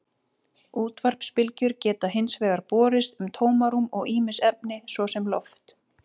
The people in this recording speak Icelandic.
Útvarpsbylgjur geta hins vegar borist um tómarúm og ýmis efni, svo sem loft.